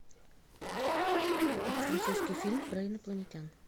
французский фильм про инопланетян